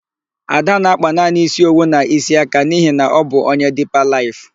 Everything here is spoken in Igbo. Ada na-akpa naanị ísí owu na ísí aka n'ihi na ọ bụ onye Dipa Laịf.